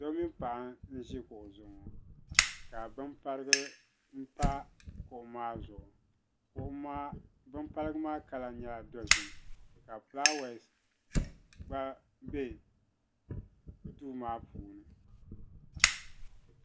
do o mini paɣ' n ʒɛ kuɣ' zuɣ' ŋɔ ka be parigu pa kuɣ maa zuɣigu kuɣ' maa bɛ parigu maa kala nyala zaɣ' doʒɛm ka ƒulawasi gba bɛ do maa puuni